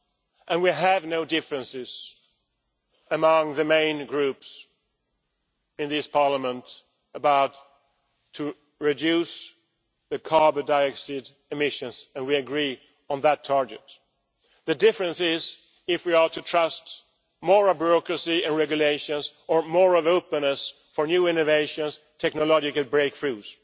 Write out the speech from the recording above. There are no differences among the main groups in this Parliament about reducing carbon dioxide emissions, and we agree on that target. The difference lies in whether we are to trust more bureaucracy and regulations or more openness towards new innovations and technological breakthroughs.